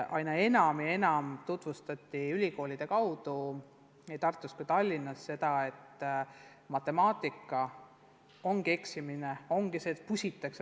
Aina enam tutvustati ülikoolide kaudu nii Tartus kui ka Tallinnas lähenemist, et matemaatikas ongi eksimine tavaline.